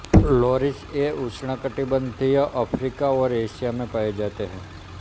loris ये उष्ण कटिबंधीय अफ्रीका और एशिया में पाए जाते हैं